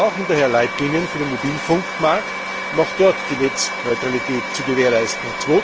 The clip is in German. Wir brauchen daher Leitlinien für den Mobilfunkmarkt, um auch dort die Netzneutralität zu gewährleisten.